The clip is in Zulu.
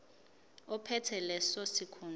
ophethe leso sikhundla